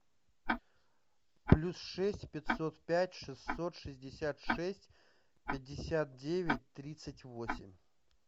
плюс шесть пятьсот пять шестьсот шестьдесят шесть пятьдесят девять тридцать восемь